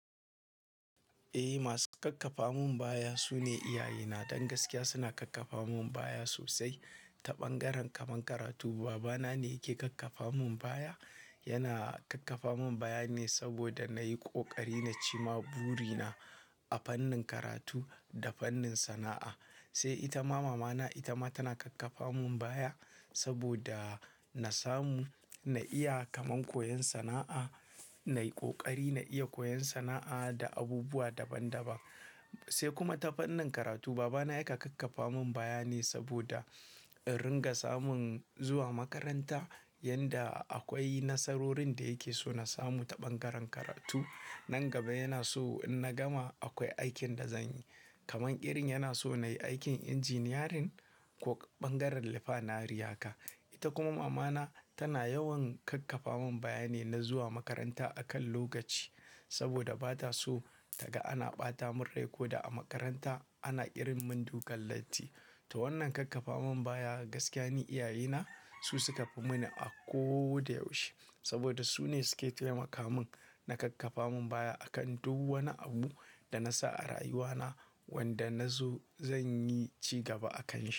Eh, masu kakkafa mun baya su ne iyaye na. Don gaskiya suna kakkafa mun baya sosai, ta ɓangaren kaman karatu, baba na ne yake kakkafa mun baya. Yana kakkafa mun baya ne saboda na yi ƙoƙari na ci ma buri na a fannin karatu da fannin sana'a. Sai ita ma mamana, ita ma tana kakkafa mun baya, saboda na samu, na iya kaman koyon sana'a, na yi ƙoƙari, na iya koyon sana'a da abubuwa daban daban. Sai kuma ta fannin karatu babana ya kan kakkafa mun baya ne, saboda in ringa samun zuwa makaranta, yanda akwai nasarorin da yake so na samu ta ɓangaren karatu. Nan gaba yana so in na gama akwai aikin da zan yi. Kaman irin yana so na yi aikin injiniyarin ko ɓangaren rifinery ha ka. Ita kuma mamana, tana yawan kakkafa mun baya ne, na zuwa makaranta a kan lokaci saboda ba ta so ta ga ana ɓata min rai ko da a makaranta ana irin min dukan latti. Ta wannan kakkafa mun baya, gaskiya ne iyaye na, su suka fi mini a ko da yaushe saboda su ne su ke taimaka mun, na kakkafa mun baya a kan duk wani abu da na sa a rayuwa na, wanda na zo zan yi cigaba a kan shi.